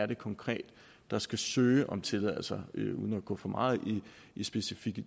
det konkret er der skal søge om tilladelse uden at gå for meget i specifikke